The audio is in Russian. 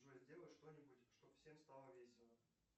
джой сделай что нибудь чтоб всем стало весело